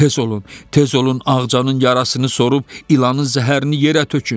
Tez olun, tez olun Ağcanın yarasını sorub ilanın zəhərini yerə tökün!